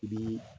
I bi